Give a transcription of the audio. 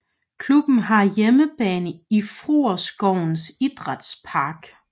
Klubben har hjemmebane i Frueskovens Idrætspark